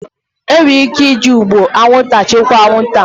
Enwere ike iji ụgbụ anwụnta chịkwaa anwụnta